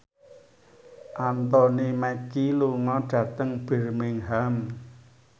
Anthony Mackie lunga dhateng Birmingham